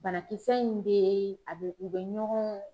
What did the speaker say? Banakisɛ be a be u be ɲɔgɔn